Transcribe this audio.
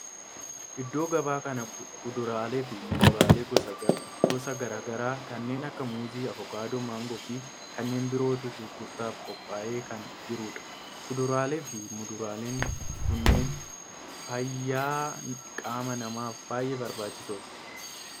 Iddoo gabaa kan kuduraalee fi muduraalee gosa garaa garaa kanneen akka muuzii, avokaadoo, maangoo fi kanneen birootu gurgurtaaf qophaa'ee kan jirudha. Kuduraalee fi muduraaleen kunneen fayyaa qaama namaaf baayyee barbaachisoodha.